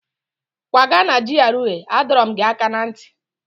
Kwaga na GRA! Adọrọ m gị aka na nti